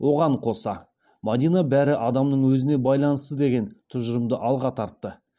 оған қоса мадина бәрі адамның өзіне байланысты деген тұжырымды алға тартты